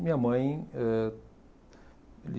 Minha mãe eh